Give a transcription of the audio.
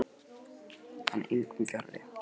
Hann er engum fjarri.